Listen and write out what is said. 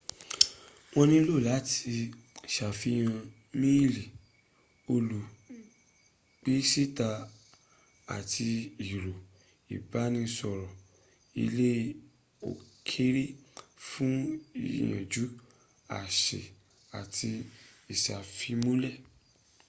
wọ́n nílò láti sàfihàn í-miìlì olùgbésíta àti ẹ̀rọ ìbánisọ̀rọ̀ ilẹ̀ òkèrè fún ìyànjú/àṣẹ àti ìsàfimúnlẹ̀